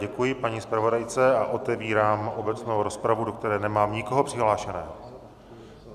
Děkuji paní zpravodajce a otevírám obecnou rozpravu, do které nemám nikoho přihlášeného.